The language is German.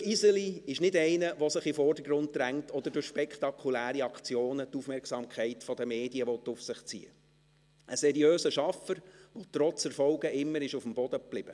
Jürg Iseli ist nicht einer, der sich in den Vordergrund drängt oder durch spektakuläre Aktionen die Aufmerksamkeit der Medien auf sich ziehen will, sondern er ist ein seriöser Schaffer, der trotz Erfolgen immer am Boden blieb.